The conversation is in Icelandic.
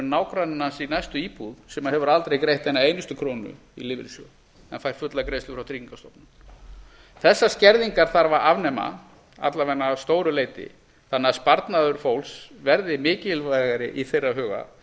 nágranni hans í næstu íbúð sem hefur aldrei greitt eina einustu krónu í lífeyrissjóð en fær fulla greiðslu frá tryggingastofnun þessar skerðingar þarf að afnema alla vega að stóru leyti þannig að sparnaður fólks verði mikilvægari í þeirra huga